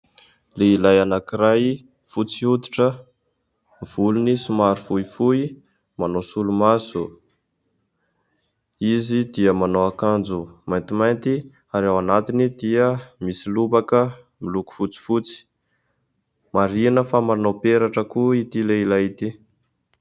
Lehilahy anankiray fotsy hoditra, volony somary fohifohy manao solomaso. Izy dia manao akanjo maintimainty ary ao anatiny dia misy lobaka miloko fotsifotsy. Marihana fa manao peratra koa ity lehilahy ity.